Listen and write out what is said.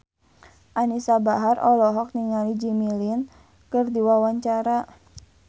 Anisa Bahar olohok ningali Jimmy Lin keur diwawancara